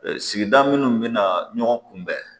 Sigida minnu bɛna ɲɔgɔn kunbɛn